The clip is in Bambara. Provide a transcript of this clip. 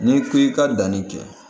N'i ko i ka danni kɛ